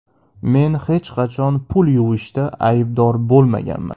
Men hech qachon pul yuvishda aybdor bo‘lmaganman.